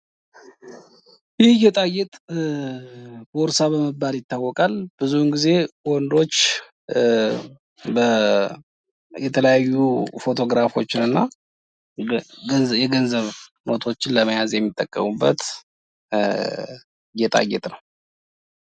ይህ ጌጣጌጥ ቦርሳ በመባል ይታወቃል። ብዙዉን ጊዜ ወንዶች የተለያዩ ፎቶግራፎችን እና የገንዘብ ኖቶችን ለመያዝ የሚጠቀሙበት ጌጣጌጥ ነዉ።